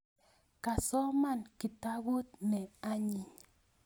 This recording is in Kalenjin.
Kasoman kitabut ne anyiny